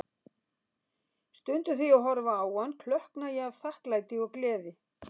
Stundum þegar ég horfi á hann, klökkna ég af þakklæti og gleði.